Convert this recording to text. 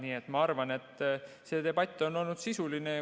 Nii et ma arvan, see debatt on olnud sisuline.